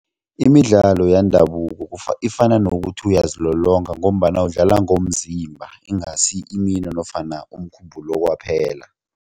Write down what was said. Imidlalo yendabuko ifana nokuthi uyazilolonga ngombana udlala ngomzimba ingasi imino nofana umkhumbulo kwaphela.